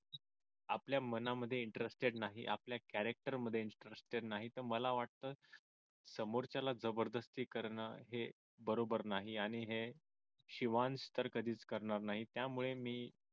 आपल्या मनामध्ये interested नाही आपल्या character मध्ये interested नाही तर मला वाटत समोरच्याला जबरदस्ती करणं हे बरोबर नाही आणि हे शिवांश तर कधीच करणार नाही त्यामुळे मी